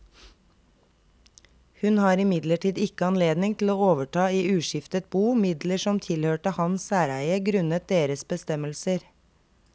Hun har imidlertid ikke anledning til å overta i uskiftet bo midler som tilhørte hans særeie grunnet deres bestemmelser.